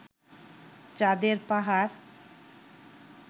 চাঁদের পাহাড়